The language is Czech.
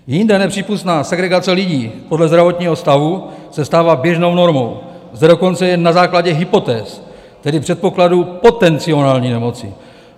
Jinde nepřípustná segregace lidí podle zdravotního stavu se stává běžnou normou - zde dokonce jen na základě hypotéz, tedy předpokladu potenciální nemoci.